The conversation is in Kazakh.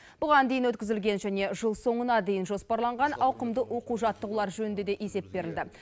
бұған дейін өткізілген және жыл соңына дейін жоспарланған ауқымды оқу жаттығулар жөнінде де есеп берілді